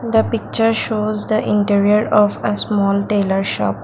the picture shows the interior of a small tailor shop.